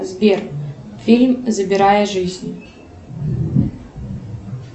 сбер фильм забирая жизнь